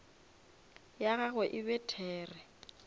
ya gagwe e be there